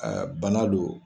bana don.